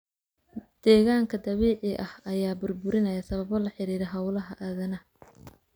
Deegaanka dabiiciga ah ayaa burburinaya sababo la xiriira hawlaha aadanaha.